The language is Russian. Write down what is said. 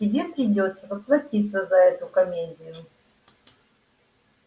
тебе придётся поплатиться за эту комедию